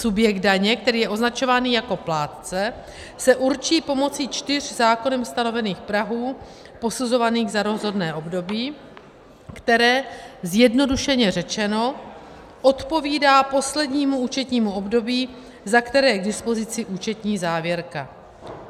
Subjekt daně, který je označován jako plátce, se určí pomocí čtyř zákonem stanovených prahů posuzovaných za rozhodné období, které zjednodušeně řečeno odpovídá poslednímu účetnímu období, za které je k dispozici účetní závěrka.